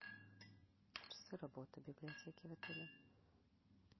часы работы библиотеки в отеле